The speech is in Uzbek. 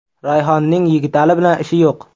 Rayhonning Yigitali bilan ishi yo‘q.